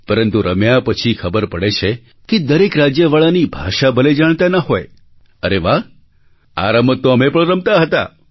પરંતુ રમ્યા પછી ખબર પડે છે કે દરેક રાજ્યવાળાની ભાષા ભલે જાણતા ન હોય અરે વાહ આ રમત તો અમે પણ રમતા હતા